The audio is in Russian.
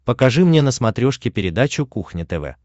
покажи мне на смотрешке передачу кухня тв